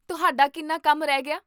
ਤੁਹਾਡਾ ਕਿੰਨਾ ਕੰਮ ਰਿਹ ਗਿਆ ਹੈ?